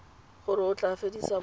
gore o tla fedisa boagi